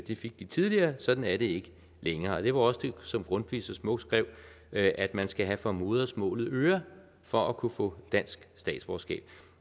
det fik de tidligere sådan er det ikke længere det var også det som grundtvig så smukt skrev at at man skal have for modersmålet øre for at kunne få dansk statsborgerskab